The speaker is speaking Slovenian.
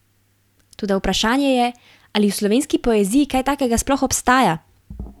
Toda vprašanje je, ali v slovenski poeziji kaj takega sploh obstaja?